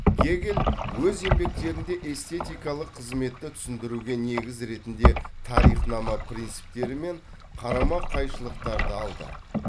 гегель өз еңбектерінде эстетикалық қызметті түсіндіруге негіз ретінде тарихнама принциптері мен қарама қайшылықтарды алды